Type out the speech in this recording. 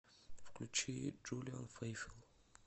включи джулиан фейфел